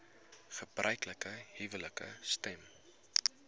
gebruiklike huwelike stem